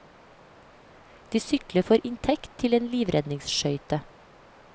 De sykler for inntekt til en livredningsskøyte.